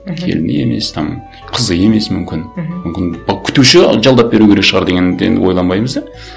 мхм келіні емес там қызы емес мүмкін мхм мүмкін күтуші жалдап беру керек шығар деген ойланбаймыз да